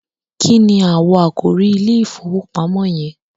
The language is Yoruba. kíni awọ àkòrí ìIlé ìfowópamọ́ yen?